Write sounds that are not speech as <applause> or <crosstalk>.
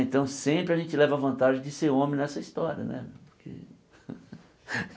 Então sempre a gente leva vantagem de ser homem nessa história, né porque? <laughs>